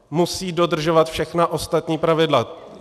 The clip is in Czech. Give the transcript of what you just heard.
Musí dodržovat všechna ostatní pravidla.